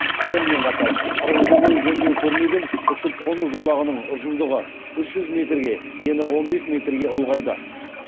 сонымен қатар қырық жыл бойы жөндеу көрмеген ұшып қону жолағының ұзындығы үш жүз метрге ені он бес метрге ұлғайды